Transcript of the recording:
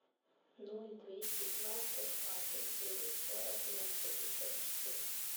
ноль двести два сто двадцать девять сорок ноль пятьдесят четыре